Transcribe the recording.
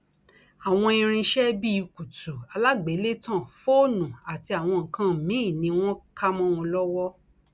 àwọn irinṣẹ bíi kùtù alágbélétan fóònù àti àwọn nǹkan míín ni wọn ká ká mọ wọn lọwọ